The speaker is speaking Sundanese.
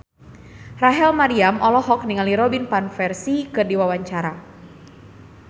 Rachel Maryam olohok ningali Robin Van Persie keur diwawancara